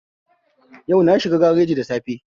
Yau na shiga gareji da safe